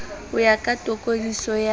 ho ya ka tokodiso ya